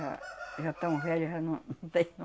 Já, já estão velhos, já não tem